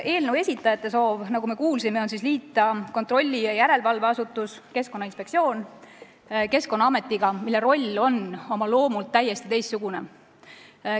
Eelnõu esitajate soov, nagu me kuulsime, on liita kontrolli- ja järelevalveasutus Keskkonnainspektsioon Keskkonnaametiga, mille roll on oma loomult täiesti teistsugune.